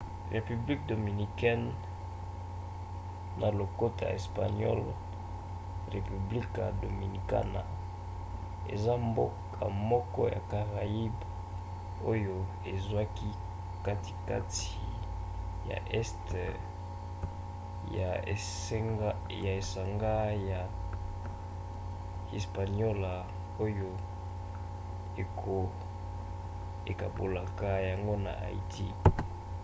république dominicaine na lokota ya espagnol: república dominicana eza mboka moko ya caraïbes oyo ezwaki katikati ya este ya esanga ya hispaniola oyo ekabolaka yango na haïti